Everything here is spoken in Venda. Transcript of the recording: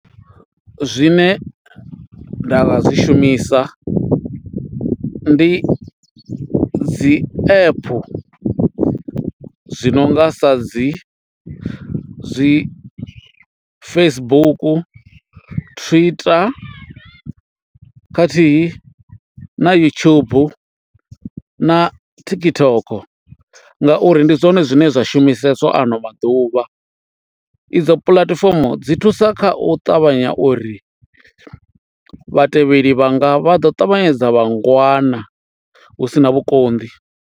Zwine nda nga zwi shumisa ndi dzi app zwi no nga sa dzi zwi Facebook, Twitter khathihi na YouTube na TikTok ngauri ndi zwone zwine zwa shumiseswa ano maḓuvha. Idzo puḽatifomo dzi thusa kha u ṱavhanya uri vhatevheli vhanga vha ḓo ṱavhanyedza vha ngwana hu sina vhukonḓi.